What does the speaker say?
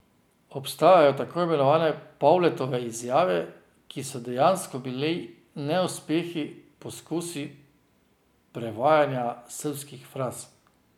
Obstajajo tako imenovane Pavletove izjave, ki so dejansko bili neuspeli poskusi prevajanja srbskih fraz.